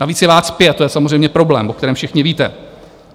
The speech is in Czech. Navíc je vás pět, to je samozřejmě problém, o kterém všichni víte.